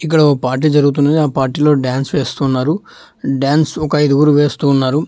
ఇక్కడ ఓ పార్టీ జరుగుతున్నది ఆ పార్టీలో డాన్స్ వేస్తున్నారు డాన్స్ ఒక ఐదుగురు వేస్తున్నారు.